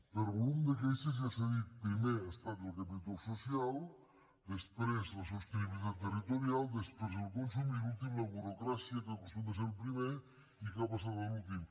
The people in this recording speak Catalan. per volum de queixes ja s’ha dit primer ha estat el capítol social després la sostenibilitat territorial després el consum i l’últim la burocràcia que acostuma a ser el primer i que ha passat a l’últim